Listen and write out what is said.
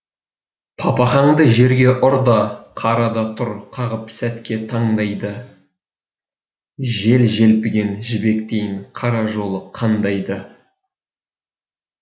папахаңды жерге ұр да қара да тұр қағып сәтке таңдайды жел желпіген жібектейін қара жолы қандай ды